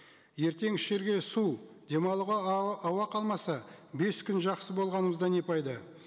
ертең ішерге су дем алуға ауа қалмаса бес күн жақсы болғанымызда не пайда